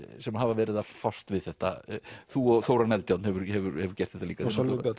sem hafa verið að fást við þetta þú og Þórarinn Eldjárn hefur hefur hefur gert þetta líka og Sölvi Björn